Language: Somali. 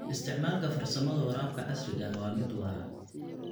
Isticmaalka farsamada waraabka casriga ah waa mid waara.